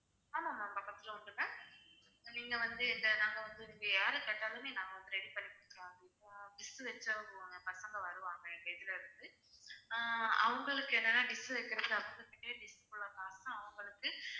ஆமாம் ma'am பக்கத்துல உண்டு ma'am நீங்க வந்து இந்த நாங்க வந்து இங்க யாரு கேட்டாலுமே நாங்க வந்து ready பண்ணி பசங்க வருவாங்க எங்க இதுல இருந்து ஆஹ் அவங்களுக்கு என்னன்னா dish வைக்குறதுக்கு அவங்களுக்கு